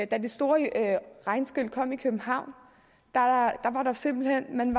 da det store regnskyl kom i københavn var man simpelt hen